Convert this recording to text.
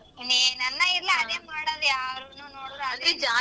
ಇನ್ನೇನ್ ಅನ್ನ ಇರ್ಲ ಅದೇ ಮಾಡೋದ್ ಯಾರ್ನು ನೋಡಿ